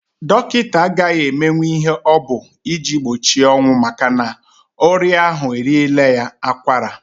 Dọkịta agaghị emenwu ihe ọ bụ iji gbochi ọnwụ makana ọrị ahu eriela ya akwara.